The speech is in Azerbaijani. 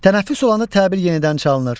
Tənəffüs olanda təbil yenidən çalınır.